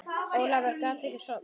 Ólafur gat ekki sofnað.